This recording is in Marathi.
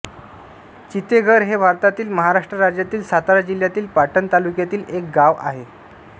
चितेघर हे भारतातील महाराष्ट्र राज्यातील सातारा जिल्ह्यातील पाटण तालुक्यातील एक गाव आहे